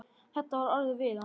Þetta var orðað við hann.